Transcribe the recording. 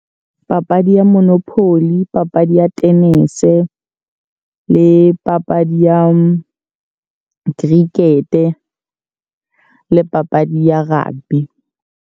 Papadi ya monopoly, papadi ya tenese. Le papadi ya cricket. Le papadi ya rugby.